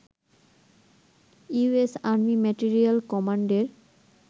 US army material কমান্ডের